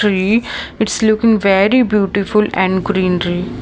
Tree it's looking very beautiful and greenery.